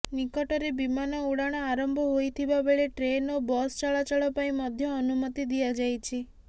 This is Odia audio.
ନିକଟରେ ବିମାନ ଉଡ଼ାଣ ଆରମ୍ଭ ହୋଇଥିବାବେଳେ ଟ୍ରେନ୍ ଓ ବସ ଚଳାଚଳ ପାଇଁ ମଧ୍ୟ ଅନୁମତି ଦିଆଯାଇଛି